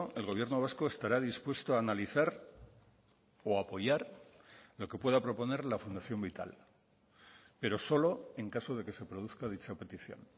el gobierno vasco estará dispuesto a analizar o a apoyar lo que pueda proponer la fundación vital pero solo en caso de que se produzca dicha petición